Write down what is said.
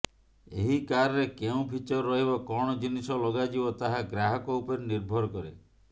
ଏହି କାରରେ କେଉଁ ଫିଚର ରହିବ କଣ ଜିନିଷ ଲଗାଯିବ ତାହା ଗ୍ରାହକ ଉପରେ ନିର୍ଭର କରେ